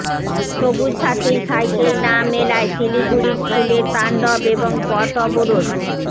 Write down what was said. সবুজ সাথীর সাইকেল না মেলায় শিলিগুড়ির স্কুলে তাণ্ডব এবং পথ অবরোধ